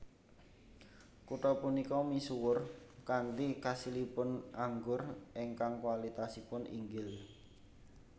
Kutha punika misuwur kanthi kasilipun anggur ingkang kualitasipun inggil